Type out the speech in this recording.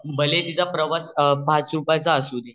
भला हि तिचा प्रवास पाच रुप्याच असू द्या